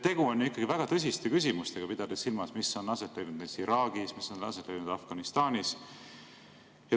Tegu on ikkagi väga tõsiste küsimustega, pidades silmas, mis on aset leidnud Iraagis või mis on aset leidnud Afganistanis.